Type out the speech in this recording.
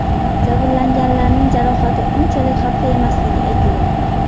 Jabrlanganlarning jarohati unchalik xavfli emasligi aytilmoqda.